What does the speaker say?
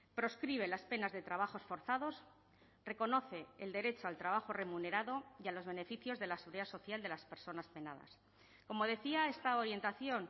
proscribe las penas de trabajos forzados reconoce el derecho al trabajo remunerado y a los beneficios de la seguridad social de las personas penadas como decía esta orientación